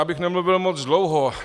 Abych nemluvil moc dlouho.